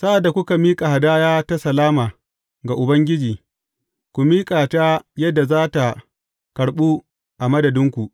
Sa’ad da kuka miƙa hadaya ta salama ga Ubangiji, ku miƙa ta yadda za tă karɓu a madadinku.